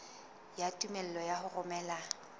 ya tumello ya ho romela